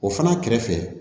O fana kɛrɛfɛ